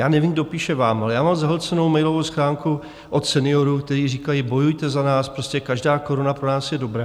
Já nevím, kdo píše vám, ale já mám zahlcenou mailovou schránku od seniorů, kteří říkají: bojujte za nás, prostě každá koruna pro nás je dobrá.